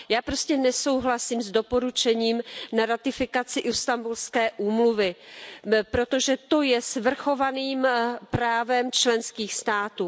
Já prostě nesouhlasím s doporučením ohledně ratifikace Istanbulské úmluvy, protože to je svrchovaným právem členských států.